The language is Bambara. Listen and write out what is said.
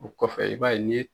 o kɔfɛ i b'a ye n'i ye